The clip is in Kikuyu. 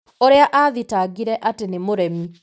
ũrĩa athitangire atĩ nĩ mũremi.